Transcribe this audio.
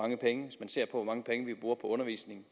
god undervisning